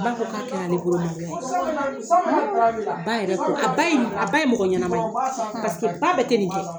Ba ko k'a kɛra ale yɛrɛ bolo maloya ye. Ba yɛrɛ ko, a ba ye nin a ba ye mɔgɔ ɲɛnama ye. Paseke ba bɛɛ tɛ nin kɛ.